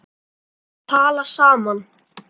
til að tala saman